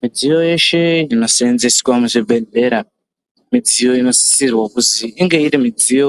Midziyo yeshe anoseenzeswa muzvibhedhlera midziyo unosisirwa kuzi inge iri midziyo